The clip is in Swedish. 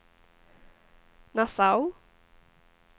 Nassau